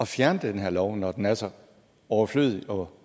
fjerne den her lov når den er så overflødig og